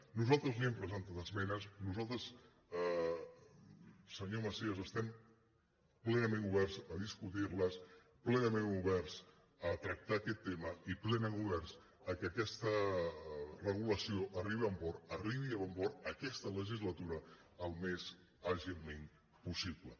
nosaltres li hem presentat esmenes nosaltres senyor macías es·tem plenament oberts a discutir·les plenament oberts a tractar aquest tema i plenament oberts que aquesta regulació arribi a bon port aquesta legislatura al més àgilment possible